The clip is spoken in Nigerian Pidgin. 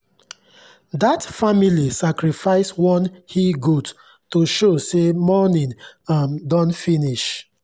that family sacrifice one he-goat to show say mourning um don finish.